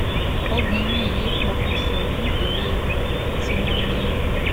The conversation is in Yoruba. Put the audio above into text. obìnrin yìí pọkùṣọ nítorí tí wọn ni